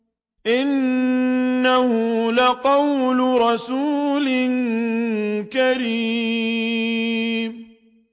إِنَّهُ لَقَوْلُ رَسُولٍ كَرِيمٍ